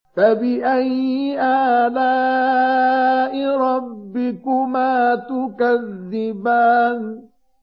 فَبِأَيِّ آلَاءِ رَبِّكُمَا تُكَذِّبَانِ